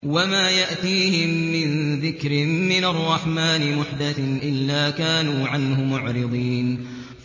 وَمَا يَأْتِيهِم مِّن ذِكْرٍ مِّنَ الرَّحْمَٰنِ مُحْدَثٍ إِلَّا كَانُوا عَنْهُ مُعْرِضِينَ